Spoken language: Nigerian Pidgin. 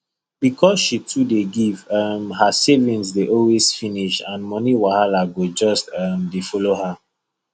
because she too dey give um her savings dey always finish and money wahala go just um dey follow her